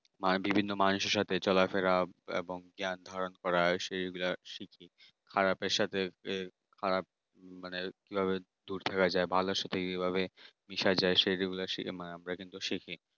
আর বিভিন্ন মানুষের সাথে চলাফেরা এবং ধারণ করা সেইগুলা সে কি খারাপের সাথে খারাপ মানে কিভাবে দূর থাকা যায় ভালোর সাথে কিভাবে সেইগুলা মানে সেগুলো শিখি